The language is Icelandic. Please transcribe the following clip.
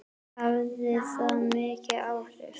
Hafði það mikil áhrif?